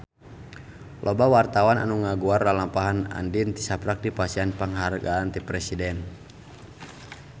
Loba wartawan anu ngaguar lalampahan Andien tisaprak dipasihan panghargaan ti Presiden